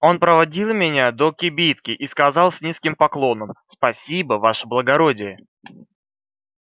он проводил меня до кибитки и сказал с низким поклоном спасибо ваше благородие